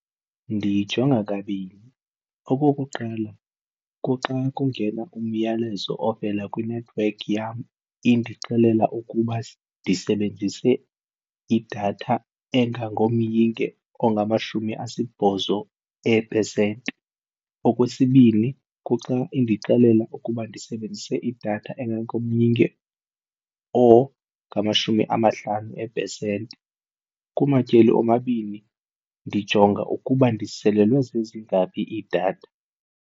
Ndiyijonga kabini. Okokuqala, kuxa kungena umyalezo ovela kwinethiwekhi yam indixelela ukuba ndisebenzise idatha engango myinge ongamashumi asibhozo eepesenti. Okwesibini, kuxa indixelela ukuba ndisebenzise idatha engango myinge ongamashumi amahlanu eepesenti kumatyeli omabini ndijonga ukuba ndiselelwe zezingaphi iidatha.